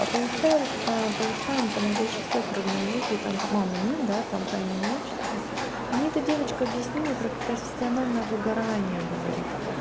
а получается получаем то мы больше всех родные дети это мамы нет да там по имени-отчеству мне эта девочка объяснила про профессиональное выгорание говорит